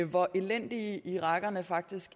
hvor elendige irakerne faktisk